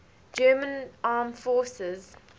german armed forces